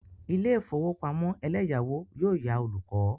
Ilé ìfowópamọ́ eleyawo yóò yá olùkọ́.